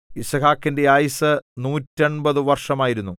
യിസ്ഹാക്കിന്റെ ആയുസ്സ് നൂറ്റെൺപതു വർഷമായിരുന്നു